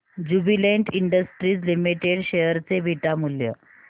Jubilant Industries Limited share चे beta मूल्य